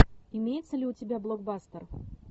имеется ли у тебя блокбастер